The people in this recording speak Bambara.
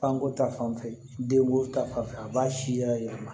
Fanko ta fanfɛ den ko ta fanfɛ a b'a si yɛlɛma